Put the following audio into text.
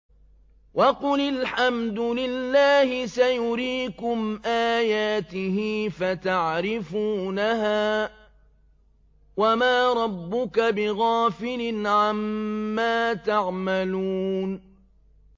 وَقُلِ الْحَمْدُ لِلَّهِ سَيُرِيكُمْ آيَاتِهِ فَتَعْرِفُونَهَا ۚ وَمَا رَبُّكَ بِغَافِلٍ عَمَّا تَعْمَلُونَ